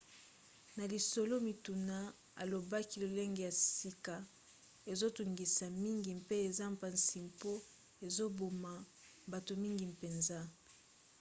na lisolo-mituna alobaki lolenge ya sika ezotungisa mingi mpe eza mpasi mpo ezoboma bato mingi mpenza.